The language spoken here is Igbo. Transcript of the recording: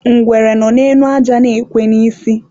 ngwere nọ n'elu aja nọ na-ekwe n'isi.